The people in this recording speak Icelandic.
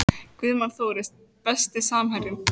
Guðmann Þóris Besti samherjinn?